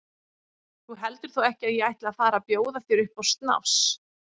Þú heldur þó ekki að ég ætli að fara að bjóða þér upp á snafs?